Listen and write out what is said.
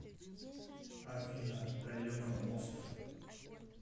афина таека мост